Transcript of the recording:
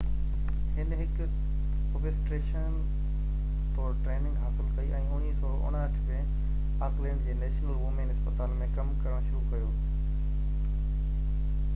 هن هڪ اوبسٽيريشين طور ٽريننگ حاصل ڪئي ۽ 1959 ۾ آڪلينڊ جي نيشنل وومين اسپتال ۾ ڪم ڪرڻ شروع ڪيو